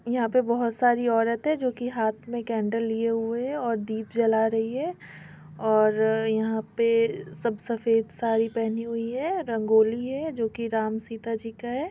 यहाँ पे बहोत सारी औरत है जो हाथ में केंडल लिए हुए है और दीप जला रही है और यहाँ पे सब सफेद साड़ी पेहनी हुई है रंगोली है जो की राम सीता जी का है।